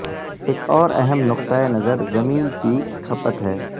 ایک اور اہم نقطہ نظر زمین کی کھپت ہے